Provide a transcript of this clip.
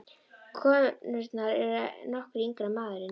Konurnar eru nokkru yngri en maðurinn.